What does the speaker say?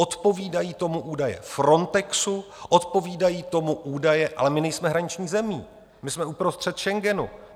Odpovídají tomu údaje FRONTEXu, odpovídají tomu údaje, ale my nejsme hraniční zemí, my jsme uprostřed Schengenu.